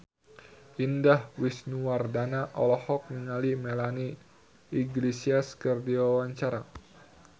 Indah Wisnuwardana olohok ningali Melanie Iglesias keur diwawancara